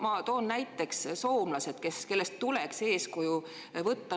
Ma toon näiteks soomlased, kellest tuleks eeskuju võtta.